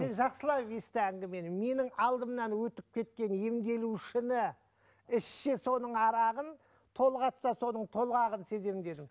сен жақсылап есті әңгімені менің алдымнан өтіп кеткен емделушіні ішсе соның арағын толғатса соның толғағын сеземін дедім